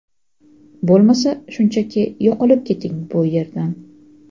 bo‘lmasa shunchaki yo‘qolib keting bu yerdan.